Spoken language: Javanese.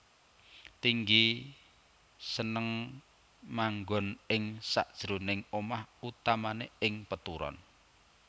Tinggi seneng manggoN ing sakjeroning omah utamané ing peturon